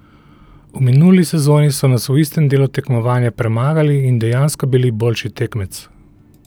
V minuli sezoni so nas v istem delu tekmovanja premagali in dejansko bili boljši tekmec.